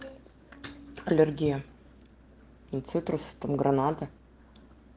аллергия на цитрусовые там гранаты